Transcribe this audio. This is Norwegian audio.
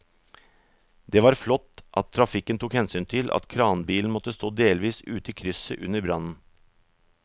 Det var flott at trafikken tok hensyn til at kranbilen måtte stå delvis ute i krysset under brannen.